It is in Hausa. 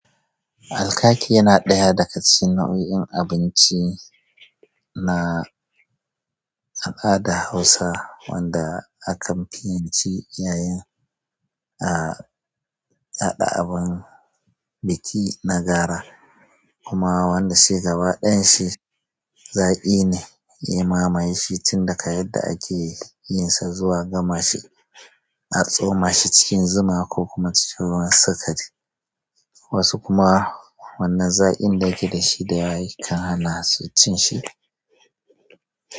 Alkaki yana ɗaya daga cikin nau'ikan abinci na al'ada a Hausa wanda akan fi yin shi yayin biki na gara, kuma wanda shi gaba ɗayan shi zaƙi ne. Ya mamaye shi tun daga yadda ake yin sa zuwa gama shi, a tsoma shi cikin zuma ko kuma a ciro masa kat. Wasu kuma wannan zaƙin da yake da shi da yawa ya kan hana su cin shi.